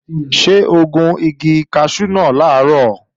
Ṣé o gun igi kaṣú náà làárọ̀?